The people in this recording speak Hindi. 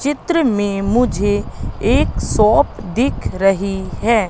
चित्र में मुझे एक शॉप दिख रही हैं।